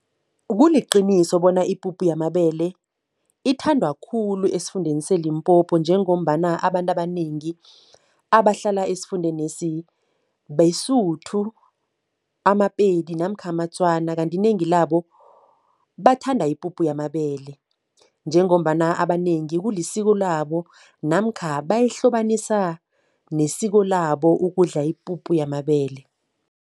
Kuliqiniso bona ipuphu yamabele ithandwa khulu esifundeni seLimpopo njengombana abantu abanengi abahlala esifundenesi beSotho, amaPedi namkha amaTswana kanti inengi labo bathanda ipuphu yamabele njengombana abanengi kulisiko labo namkha bayihlobanisa nesiko labo ukudla ipuphu yamabele.